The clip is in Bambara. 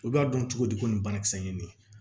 U b'a dɔn cogo di ko nin banakisɛ in ye nin ye